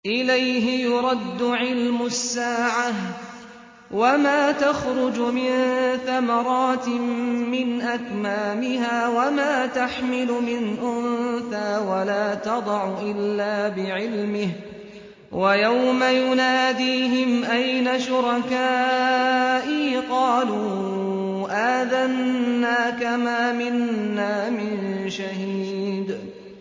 ۞ إِلَيْهِ يُرَدُّ عِلْمُ السَّاعَةِ ۚ وَمَا تَخْرُجُ مِن ثَمَرَاتٍ مِّنْ أَكْمَامِهَا وَمَا تَحْمِلُ مِنْ أُنثَىٰ وَلَا تَضَعُ إِلَّا بِعِلْمِهِ ۚ وَيَوْمَ يُنَادِيهِمْ أَيْنَ شُرَكَائِي قَالُوا آذَنَّاكَ مَا مِنَّا مِن شَهِيدٍ